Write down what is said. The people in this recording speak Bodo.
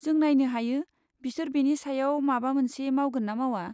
जों नायनो हायो बिसोर बेनि सायाव माबा मोनसे मावगोन ना मावा।